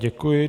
Děkuji.